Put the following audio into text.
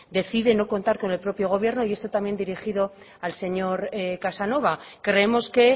decide no contar con el propio gobierno y esto también dirigido al señor casanova creemos que